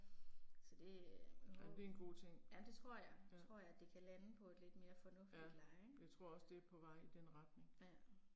Så det øh, jo. Ja det tror jeg, tror jeg det kan lande på et lidt mere fornuftigt leje ik. Ja